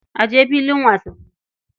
A je filin wasanni.